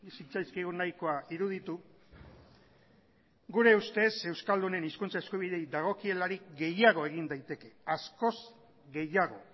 zitzaizkigun nahikoa iruditu gure ustez euskaldunen hizkuntza eskubideei dagokielarik gehiago egin daiteke askoz gehiago